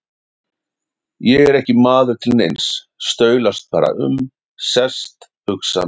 Ég er ekki maður til neins, staulast bara um, sest, hugsa mitt.